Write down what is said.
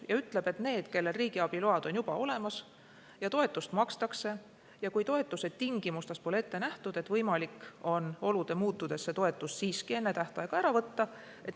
See ütleb, et need, kellel riigiabi load on juba olemas ja kellele toetust makstakse, peavad seda toetust saama lõpuni, kui toetuse tingimustes pole ette nähtud, et olude muutudes on võimalik see toetus enne tähtaega ära võtta.